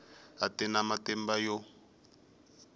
a ti na matimba yo